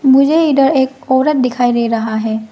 मुझे इधर एक औरत दिखाई दे रहा है।